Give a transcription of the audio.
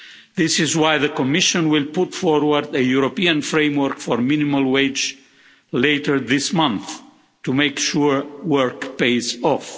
This is why the Commission will put forward a European framework for a minimum wage later this month to make sure work pays off.